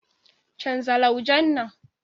Canza laujen nan.